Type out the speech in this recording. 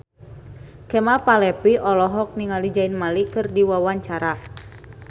Kemal Palevi olohok ningali Zayn Malik keur diwawancara